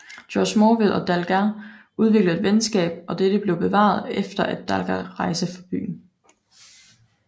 Georg Morville og Dalgas udviklede et venskab og dette blev bevaret efter at Dalgas rejste fra byen